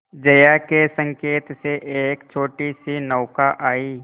जया के संकेत से एक छोटीसी नौका आई